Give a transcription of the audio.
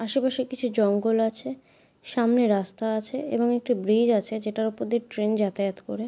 আশেপাশে কিছু জঙ্গল আছে সামনে রাস্তা আছে এবং একটি ব্রিজ আছে জেটার ওপর দিয়ে ট্রেন যাতায়াত করে।